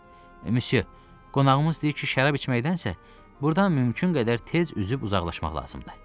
Müsyo, qonağımız deyir ki, şərab içməkdənsə burdan mümkün qədər tez üzüb uzaqlaşmaq lazımdır.